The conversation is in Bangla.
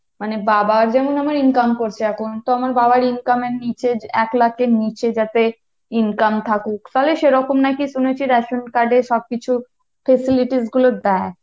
মানে বাবা যেমন আমার income করছে এখন, তো আমার বাবার income এর নিচে এক লাখের নিচে যাতে income থাকুক তাহলে সেরকম নাকি শুনেছি রেশন card এ সবকিছু facilities গুলো দেয়।